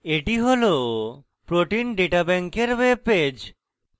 এটি হল protein data bank এর web পেজ